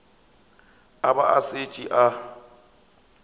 a ba a šetše a